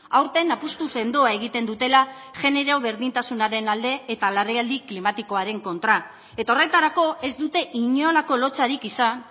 aurten apustu sendoa egiten dutela genero berdintasunaren alde eta larrialdi klimatikoaren kontra eta horretarako ez dute inolako lotsarik izan